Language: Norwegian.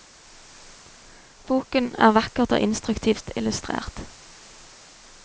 Boken er vakkert og instruktivt illustrert.